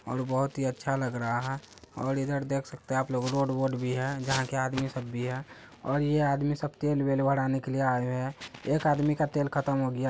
और बहोत ही अच्छा लग रहा है और इधर देख सकते हैं आपलोग रोड बोड भी है जहां की आदमी सब भी हैं और यह आदमी सब तेल बेल बढ़ने के लिए आये हुए हैं एक आदमी का तेल खत्म हो गया।